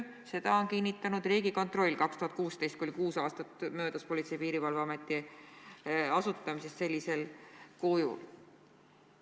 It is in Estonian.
Seda kinnitas ka Riigikontroll aastal 2016, kui oli kuus aastat möödas Politsei- ja Piirivalveameti asutamisest sellisel kujul.